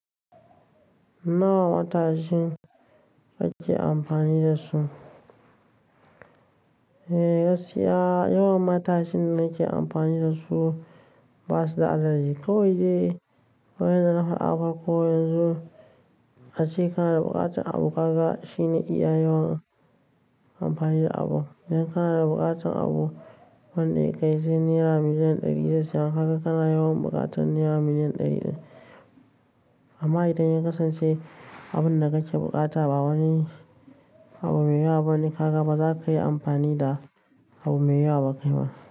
Nawa matashin kake amfani da su? Eh gaskiya yawan matashin da nake amfani da su basu da adadi Ko wai dai waya da na fara afarko yanzu ace ka da buƙatar abu kaga shine iya yawan amfani da abu. Idan ka da buƙatar abu wanda ya kai naira million ɗari da sittin haka kana yawan buƙatar naira million ɗari ɗaya. Amma idan ya kasance abun da kake buƙata ba wani abu me yawa bane, haka baza ka yi amfani da abu me yawa ba kai ma.